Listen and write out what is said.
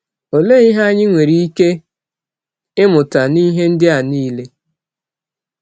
Olee ihe anyị nwere ike ịmụta n’ihe ndị a niile?